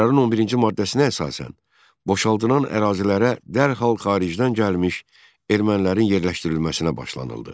Qərarın 11-ci maddəsinə əsasən boşaldılan ərazilərə dərhal xaricdən gəlmiş ermənilərin yerləşdirilməsinə başlanıldı.